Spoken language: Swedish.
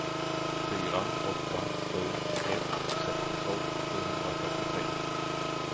fyra åtta sju ett sextiotvå sjuhundrafyrtiotre